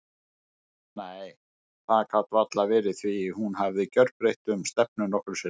Nei, það gat varla verið því hún hafði gerbreytt um stefnu nokkrum sinnum.